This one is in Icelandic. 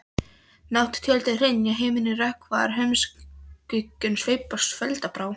Nátt-tjöldin hrynja, himininn rökkvar, húmskuggum sveipast foldarbrá.